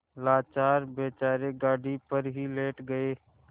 लाचार बेचारे गाड़ी पर ही लेट गये